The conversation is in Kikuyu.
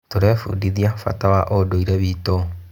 Tũrebundithia bata wa ũndũire witũ.